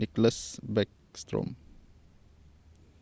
nicklas backstrom